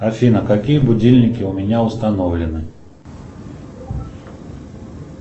афина какие будильники у меня установлены